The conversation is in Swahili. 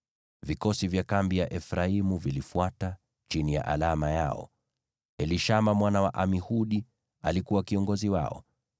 Vikosi vya kambi ya Efraimu vilifuata, chini ya alama yao. Elishama mwana wa Amihudi alikuwa kiongozi wao.